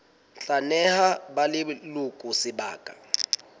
tla neha ba leloko sebaka